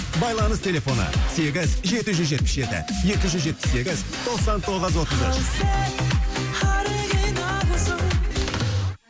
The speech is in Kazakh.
байланыс телефоны сегіз жеті жүз жетпіс жеті екі жүз жетпіс сегіз тоқсан тоғыз отыз үш ал сен оригиналсың